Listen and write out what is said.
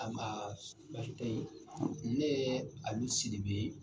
Anbaa baasi tɛ ye ne ye Alu Siribe ye.